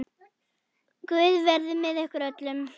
Guð verið með ykkur öllum.